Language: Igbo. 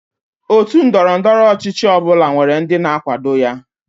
Otú ndọrọ ndọrọ ọchịchị ọ bụla nwere ndị na-akwado ya.